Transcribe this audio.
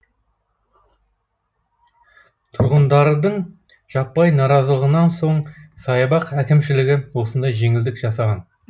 тұрғындардың жаппай наразылығынан соң саябақ әкімшілігі осындай жеңілдік жасаған